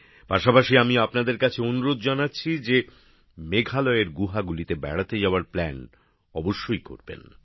পাশাপাশি আমি আপনাদের কাছে অনুরোধ জানাচ্ছি যে মেঘালয়ের গুহাগুলিতে বেড়াতে যাওয়ার পরিকল্পনা অবশ্যই করবেন